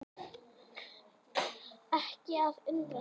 Ekki að undra það.